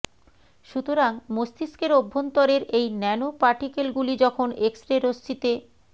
সুতরাং মস্তিষ্কের অভ্যন্তরের এই ন্যানো পার্টিকেলগুলি যখন এক্স রে রশ্মিতে